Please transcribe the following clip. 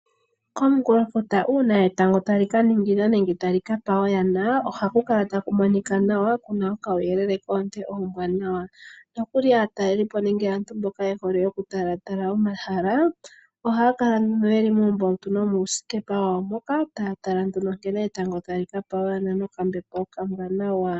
Komunkulofuta uuna etango tali ka ningina nenge tali ka pa oyana ohaku kala taku monika nawa, kuna okauyelele koonte oombwaanawa nokuli aataleli po nenge aantu mboka ye hole oku tala tala omahala ohaya kala yeli muumbautu nomuusikepa wawo mboka taya tala nduno nkene etango tali ka pa oyana nokambepo okawanawa.